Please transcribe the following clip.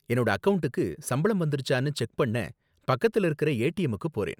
என்னோட அக்கவுண்டுக்கு சம்பளம் வந்திருச்சான்னு செக் பண்ண பக்கத்துல இருக்கிற ஏடிஎம்முக்கு போறேன்.